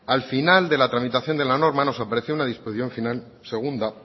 al final de la tramitación de la norma nos apareció una disposición final segunda